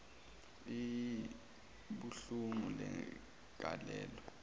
iii ubukhulu begalelo